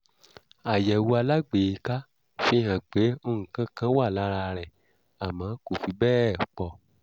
àyẹ̀wò alágbèéká fihàn pé nǹkan kan wà lára rẹ̀ àmọ́ kò fi bẹ́ẹ̀ pọ̀